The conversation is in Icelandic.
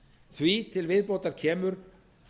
því til viðbótar kemur